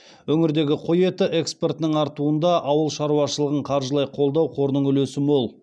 өңірдегі қой еті экспортының артуында ауыл шаруашылығын қаржылай қолдау қорының үлесі мол